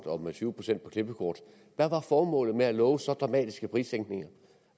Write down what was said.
og med tyve procent for klippekort hvad var formålet med at love så dramatiske prissænkninger